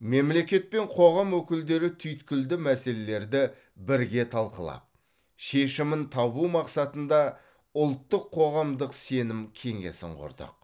мемлекет пен қоғам өкілдері түйткілді мәселелерді бірге талқылап шешімін табу мақсатында ұлттық қоғамдық сенім кеңесін құрдық